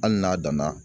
Hali n'a danna